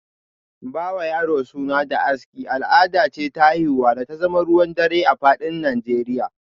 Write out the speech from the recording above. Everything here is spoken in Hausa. Ba wa yaro suna da aski, al’ada ce ta haihuwa da ta zama ruwan dare a fadin Nijeriya